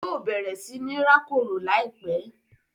Yóò bẹ̀rẹ̀ sí ní rákòrò láìpẹ́.